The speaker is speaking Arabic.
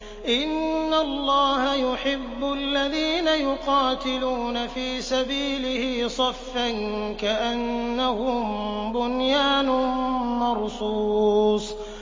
إِنَّ اللَّهَ يُحِبُّ الَّذِينَ يُقَاتِلُونَ فِي سَبِيلِهِ صَفًّا كَأَنَّهُم بُنْيَانٌ مَّرْصُوصٌ